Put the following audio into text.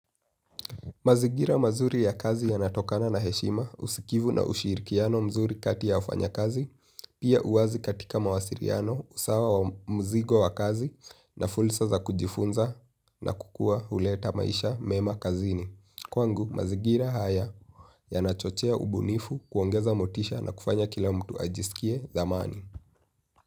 Mazigira mazuri ya kazi yanatokana na heshima usikivu na ushirikiano mzuri kati ya wafanya kazi, pia uwazi katika mawasiriano usawa wa mzigo wa kazi na fulsa za kujifunza na kukua uleta maisha mema kazini. Kwangu, mazigira haya yanachochea ubunifu kuongeza motisha na kufanya kila mtu ajisikie dhamani.